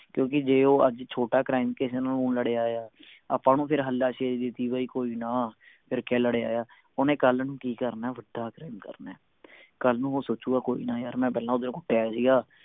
ਕਿਓਂਕਿ ਜੇ ਉਹ ਅੱਜ ਛੋਟਾ crime ਕਿਸੇ ਨੂੰ ਲੜ ਆਇਆ ਆਪਾਂ ਓਹਨੂੰ ਹੱਲਾ ਸ਼ੇਰੀ ਦੇਤੀ ਵੀ ਕੋਈ ਨਾ ਫੇਰ ਕਿ ਹੈ ਲੜ ਆਇਆ ਓਹਨੇ ਕੱਲ ਨੂੰ ਕਿ ਕਰਨੇ ਵੱਡਾ crime ਕਰਨੇ ਕੱਲ ਨੂੰ ਉਹ ਸੋਚੂਗਾ ਕੋਈ ਨਾ ਯਾਰ ਮੈਂ ਪਹਿਲਾ ਓਧਰ ਕੁੱਟ ਆਇਆ ਸੀ ਗਾ